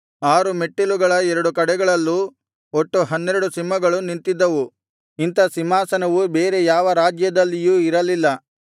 ಆರು ಮೆಟ್ಟಲುಗಳ ಎರಡು ಕಡೆಗಳಲ್ಲೂ ಒಟ್ಟು ಹನ್ನೆರಡು ಸಿಂಹಗಳು ನಿಂತಿದ್ದವು ಇಂಥ ಸಿಂಹಾಸನವು ಬೇರೆ ಯಾವ ರಾಜ್ಯದಲ್ಲಿಯೂ ಇರಲಿಲ್ಲ